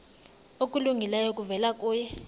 okulungileyo kuvela kuye